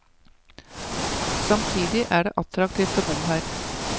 Samtidig er det attraktivt å bo her.